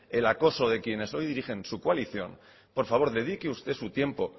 el acoso de quienes hoy dirigen su coalición por favor dedique usted su tiempo